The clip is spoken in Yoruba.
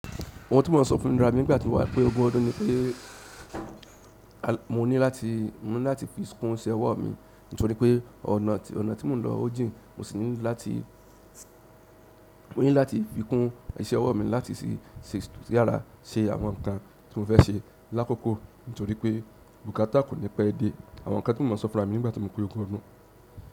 Òun tí mọ́ sọ fún mi rárá nígbà tí mo wá pé ogún ọdún ni pé a mo ní láti, mo ní láti fi kún iṣẹ́ ọwọ́ mi nítorí pé ọ̀nà, ọ̀nà tí mo ń lọ ó jìn mo sì ní láti, mo ní láti fi kún iṣẹ́ ọwọ́ mi láti sì ṣe yàrá, ṣe àwọn nǹkan tí mo fẹ́ ṣe lákòókò nítorí pé bùkátà kò ní pẹ́ dé. Àwọn nǹkan tí mo mọ so fúnra mi nígbà tí mo pé ogún ọdún.